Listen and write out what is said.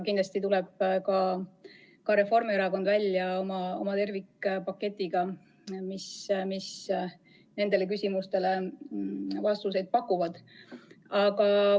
Kindlasti tuleb ka Reformierakond välja oma tervikpaketiga, mis nendele küsimustele vastuseid pakub.